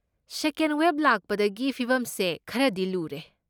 ꯁꯦꯀꯦꯟ wave ꯂꯥꯛꯄꯗꯒꯤ ꯐꯤꯚꯝꯁꯦ ꯈꯔꯗꯤ ꯂꯨꯔꯦ꯫